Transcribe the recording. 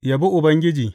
Yabi Ubangiji.